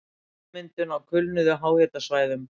Ummyndun á kulnuðum háhitasvæðum